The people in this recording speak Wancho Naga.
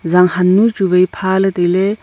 zanghannu e chu pha ley tai ley.